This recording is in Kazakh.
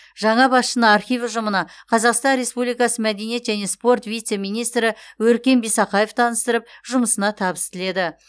жаңа басшыны архив ұжымына қазақстан республикасы мәдениет және спорт вице министрі өркен бисақаев таныстырып жұмысына табыс тіледі